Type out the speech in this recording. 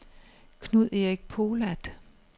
Knud-Erik Polat